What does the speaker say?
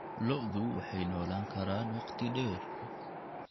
Lo'du waxay noolaan karaan waqti dheer.